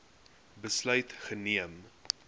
besluit geneem